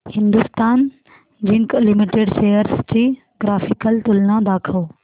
Hindustan zinc limited shares ची graphical तुलना दाखव